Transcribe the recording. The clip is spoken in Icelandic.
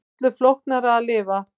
Öllu flóknara að lifa.